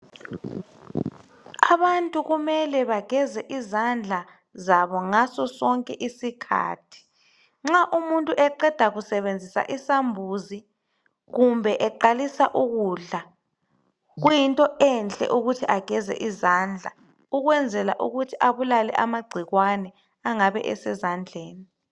abantu kumele bageze izandla zabo ngaso sonke isikhathi nxa umuntu eqeda kusebenzisa isambuzi kumbe eqalisa ukudla kuyinto enhle ukuthi ageze izandla ukwenzela ukuthi abulale amagcikwane angabe esezandleni